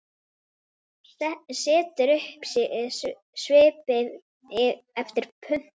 Setur upp svip eftir pöntun.